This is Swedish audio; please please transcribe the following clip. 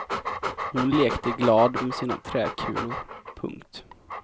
Hon lekte glad med sina träkulor. punkt